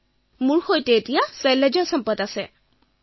অপৰ্ণাঃ মোৰ সৈতে আছে শৈলজা সম্পত